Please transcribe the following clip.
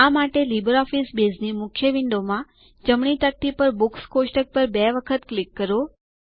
આ માટે લીબરઓફીસ બેઝની મુખ્ય વિન્ડો માં જમણી તકતી પર બુક્સ કોષ્ટક પર બે વખત ક્લિક કરો